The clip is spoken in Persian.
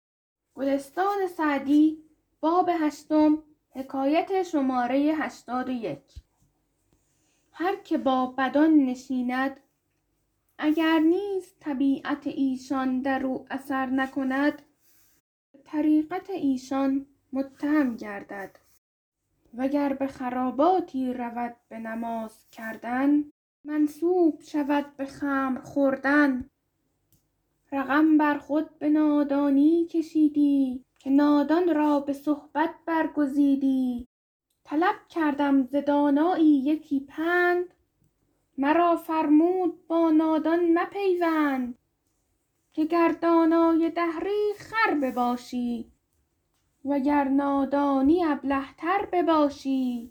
هر که با بدان نشیند اگر نیز طبیعت ایشان در او اثر نکند به طریقت ایشان متهم گردد و گر به خراباتی رود به نماز کردن منسوب شود به خمر خوردن رقم بر خود به نادانی کشیدی که نادان را به صحبت برگزیدی طلب کردم ز دانایی یکی پند مرا فرمود با نادان مپیوند که گر دانای دهری خر بباشی وگر نادانی ابله تر بباشی